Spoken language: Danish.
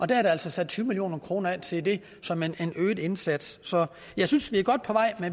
der er altså sat tyve million kroner af til det som en øget indsats så jeg synes vi er godt på vej